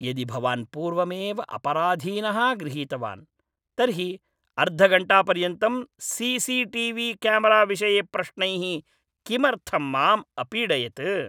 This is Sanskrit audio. यदि भवान् पूर्वमेव अपराधीनः गृहीतवान्, तर्हि अर्धघण्टापर्यन्तं सी सी टी वी क्यामराविषये प्रश्नैः किमर्थं माम् अपीडयत्?